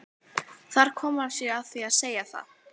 Þar kom hann sér að því að segja það.